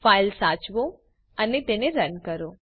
file સાચવો અને તે રન કરો